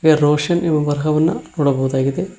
ಹಾಗೆ ರೋಷನ್ ಇವು ಬರಹವನ್ನ ನೋಡಬಹುದಾಗಿದೆ.